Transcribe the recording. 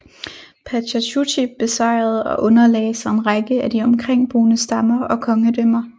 Pachacuti besejrede og underlagde sig en række af de omkringboende stammer og kongedømmer